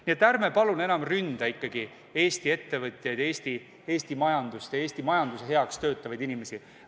Nii et ärme palun enam ründame Eesti ettevõtjaid, Eesti majandust ja Eesti majanduse heaks töötavaid inimesi!